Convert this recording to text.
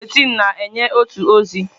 Bụletịn na-enye otu ozi.